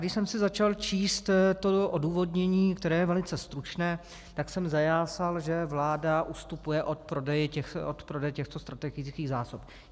Když jsem si začal číst to odůvodnění, které je velice stručné, tak jsem zajásal, že vláda ustupuje od prodeje těchto strategických zásob.